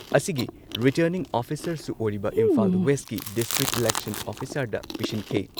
ꯑꯁꯤꯒꯤ ꯔꯤꯇꯔꯅꯤꯡ ꯑꯣꯐꯤꯁꯥꯔꯁꯨ ꯑꯣꯏꯔꯤꯕ ꯏꯝꯐꯥꯜ ꯋꯦꯁꯀꯤ ꯗꯤꯁꯇ꯭ꯔꯤꯛ ꯏꯂꯦꯛꯁꯟ ꯑꯣꯐꯤꯁꯥꯔꯗ ꯄꯤꯁꯤꯟꯈꯤ ꯫